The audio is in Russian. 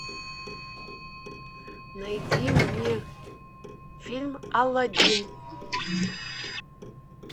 найди мне фильм алладин